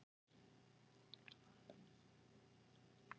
Orðið hús hefur fleiri en eina merkingu.